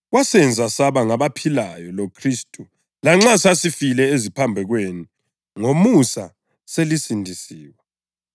wasenza saba ngabaphilayo loKhristu lanxa sasifile eziphambekweni, ngomusa selisindisiwe.